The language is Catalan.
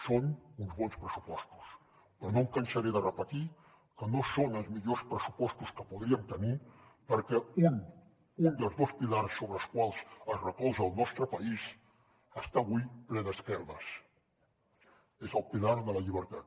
són uns bons pressupostos però no em cansaré de repetir que no són els millors pressupostos que podríem tenir perquè un dels dos pilars sobre els quals es recolza el nostre país està avui ple d’esquerdes és el pilar de la llibertat